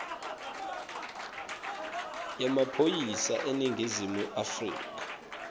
yemaphoyisa eningizimu afrika